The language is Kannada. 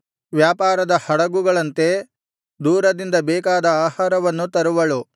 ವ್ಯಾಪಾರದ ಹಡಗುಗಳಂತೆ ದೂರದಿಂದ ಬೇಕಾದ ಆಹಾರವನ್ನು ತರುವಳು